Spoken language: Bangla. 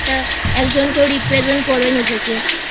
একজন কেউ Represent করবে নিজেকে